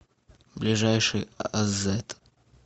ближайший азэт